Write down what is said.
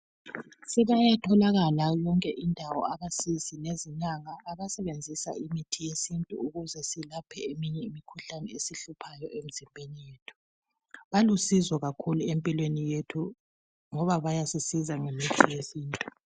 Sebayatholakala yonke izindawo, abasizi lezinyanga abasebenzisa imithi yesintu ukuze silaphe eminye imikhuhlane esihluphayo emzimbeni yethu. Balusizo kakhulu empilweni yethu ngoba bayasisiza ngemithi yesintu.